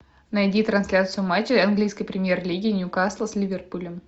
найди трансляцию матча английской премьер лиги ньюкасла с ливерпулем